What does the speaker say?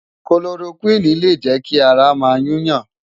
Kólórókwini lé jè ki àrá má yún yán